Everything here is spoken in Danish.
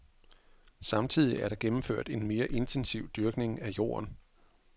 Samtidig er der gennemført en mere intensiv dyrkning af jorden.